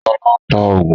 Sọlá ń ta oògùn